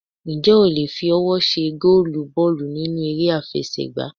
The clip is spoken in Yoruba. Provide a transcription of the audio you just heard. Ǹjẹ́ o le fi ọwọ́ ṣe gólùù bọ́ọ̀lù nínú eré àfẹsẹ̀ gbá?